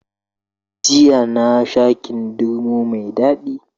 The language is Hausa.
Jiya nasha kindirmo mai Dadi